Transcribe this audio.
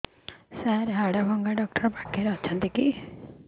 ସାର ହାଡଭଙ୍ଗା ଡକ୍ଟର ପାଖରେ ଅଛନ୍ତି କି